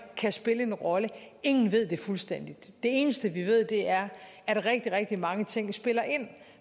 kan spille en rolle ingen ved det fuldstændigt det eneste vi ved er at rigtig rigtig mange ting spiller ind